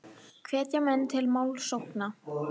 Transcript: Hvetja menn til málsókna